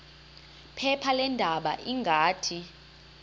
phepha leendaba ngathi